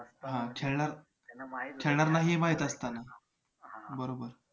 हां खेळणार खेळणार नाही हे माहित असताना बरोबर